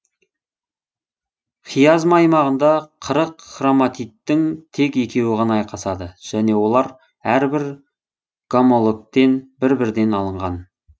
хиазма аймағында қырық хроматидтің тек екеуі ғана айқасады жөне олар әрбір гомологтен бір бірден алынған